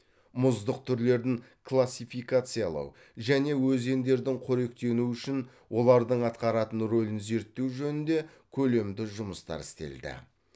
мұздық түрлерін классификациялау және өзендердің қоректенуі үшін олардың атқаратын ролін зерттеу жөнінде көлемді жұмыстар істелді